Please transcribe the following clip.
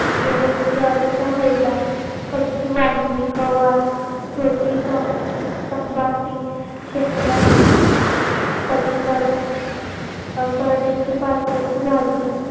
गहू ज्वारीचा हुद्दा कच्ची वांगी गवार छोटी तंबाटी शेंगा कलिंगड करडईची पातीची भाजी